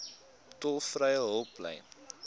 tolvrye hulplyn